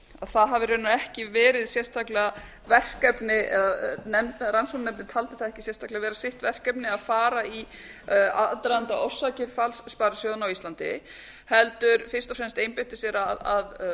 það hafi raunar ekki búið sérstaklega verkefni eða rannsóknarnefndin taldi það ekki sérstaklega vera sitt verkefni að fara í aðdraganda og orsakir falls sparisjóðanna á íslandi heldur fyrst og fremst einbeita sér að